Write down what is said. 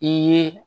I ye